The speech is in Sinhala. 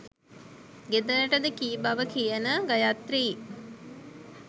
ගෙදරටද කී බව කියන ගයාත්‍රී